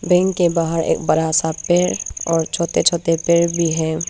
Bank के बाहर एक बड़ा सा पेड़ और छोटे छोटे पेड़ भी है।